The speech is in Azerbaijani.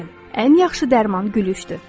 Bəli, ən yaxşı dərman gülüşdür.